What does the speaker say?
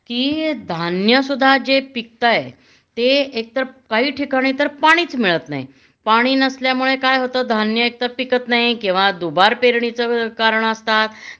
कि धान्य सुद्धा जे पिकताय ते एक तर काही ठिकाणी तर पाणीच मिळत नाही.पाणी नसल्यामुळं काय होत धान्य एकतर पिकत नाही किंवा दुबारपेरणीचं कारण असतात